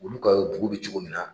Olu ka dugu bɛ cogo min na.